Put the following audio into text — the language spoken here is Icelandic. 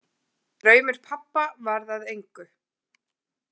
Draumur pabba varð að engu.